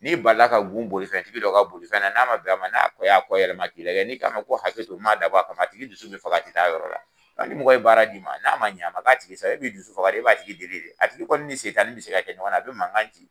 N'i balila ka gun bolifɛntigi dɔ ka bolifɛn na, n'a ma bɛn a ma n'a kɔ y'a kɔ yɛlɛma k'i lajɛ n'i ko a ma ko hakɛ to m'a dabɔ a kama a tigi dusu bɛ faga, a tɛ taa yɔrɔ la. Ni mɔgɔ ye baara d'i ma, n'a ma ɲɛ ,a ma k'a tigi sago ye , e b'i dusu faga. E b'a tigi deli de , a tigi kɔni ni setani bɛ se ka kɛ ɲɔgɔnna a bɛ mankan ci.